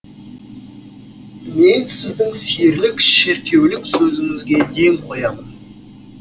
мен сіздің серілік шеркеулік сөзіңізге ден қоямын